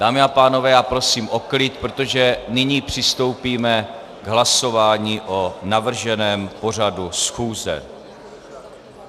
Dámy a pánové, já prosím o klid, protože nyní přistoupíme k hlasování o navrženém pořadu schůze.